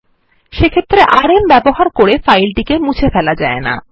সেক্ষেত্রে আরএম ব্যবহার করে ফাইলটিকে মুছে ফেলা যায় না